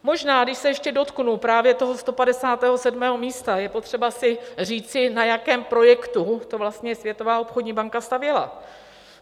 Možná když se ještě dotknu právě toho 157. místa, je potřeba si říci, na jakém projektu to vlastně Světová obchodní banka stavěla.